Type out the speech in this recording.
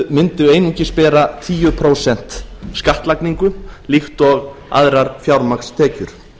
mundu einungis bera tíu prósent skattlagningu líkt og aðrar fjármagnstekjur